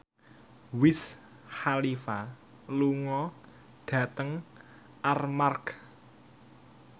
Wiz Khalifa lunga dhateng Armargh